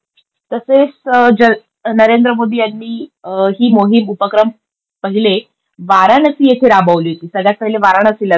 तसेच ज नरेंद्र मोदी यांनी ही मोहीम, उपक्रम पहिले वाराणसी येथे राबवली होती. सगळ्यात पहिले वाराणसीला झाली.